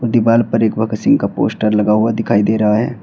दीवाल पर एक भगत सिंह का पोस्टर लगा हुआ दिखाई दे रहा है।